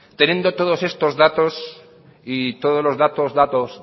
teniendo todos estos datos y todos los datos